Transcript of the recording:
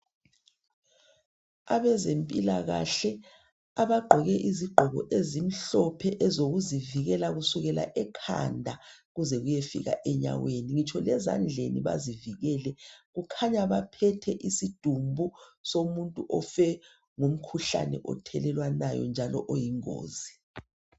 Abezempilakahle abagqoke izigqoko ezimhlophe ezokuzivikela kusukela ekhanda kuze kuyefika enyaweni ngitsho lezandleni bazivikele, kukhanya baphethe isidumbu somuntu ofe ngomkhuhlane othelelwanayo njalo oyingozi.